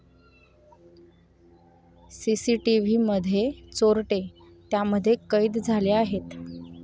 सीसीटीव्हीमध्ये चोरटे त्यामध्ये कैद झाले आहेत.